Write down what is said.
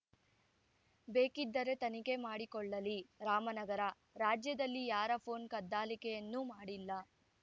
ಬೇಕಿದ್ದರೆ ತನಿಖೆ ಮಾಡಿಕೊಳ್ಳಲಿ ರಾಮನಗರ ರಾಜ್ಯದಲ್ಲಿ ಯಾರ ಪೋನ್‌ ಕದ್ದಾಲಿಕೆಯನ್ನೂ ಮಾಡಿಲ್ಲ